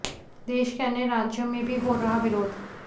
देश के अन्य राज्यों में भी हो रहा विरोध